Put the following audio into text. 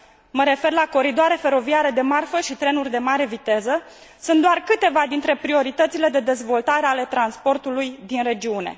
mă refer la coridoare feroviare de marfă și trenuri de mare viteză, sunt doar câteva dintre prioritățile de dezvoltare ale transportului din regiune.